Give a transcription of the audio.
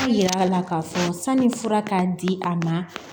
Yira a la k'a fɔ sanni fura k'a di a ma